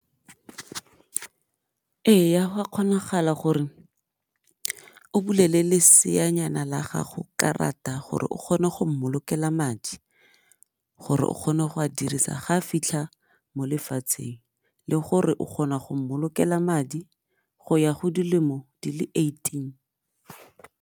Eya go a kgonagala gore o bulele leseanyana la gago karata gore o kgone go mmolokela madi gore o kgone go a dirisa ga fitlha mo lefatsheng le gore o kgona go mmolokela madi go ya go dilemo di le eighteen.